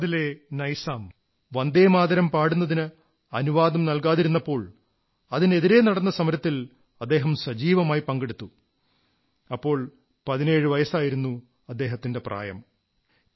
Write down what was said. ഹൈദരാബാദിലെ നൈസാം വന്ദേമാതരം പാടുന്നതിന് അനുവാദം നല്കാതിരുന്നപ്പോൾ അതിനെതിരെ നടന്ന സമരത്തിൽ അദ്ദേഹം സജീവമായി പങ്കെടുത്തിരുന്നു അപ്പോൾ അദ്ദേഹത്തിന് 17 വയസ്സായിരുന്നു പ്രായം